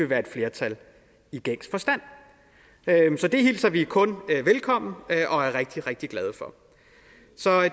være et flertal i gængs forstand så det hilser vi kun velkommen og er rigtig rigtig glade for